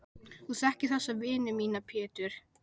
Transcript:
Þú þekkir þessa vini mína Pétur.